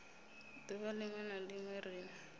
duvha linwe na linwe ri